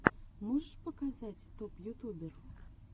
можешь показать топ ютубер